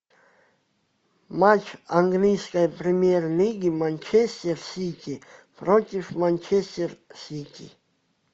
матч английской премьер лиги манчестер сити против манчестер сити